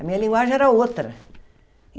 A minha linguagem era outra.